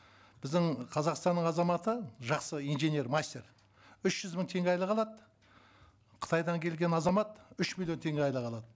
біздің қазақстанның азаматы жақсы инженер мастер үш жүз мың теңге айлық алады қытайдан келген азамат үш миллион теңге айлық алады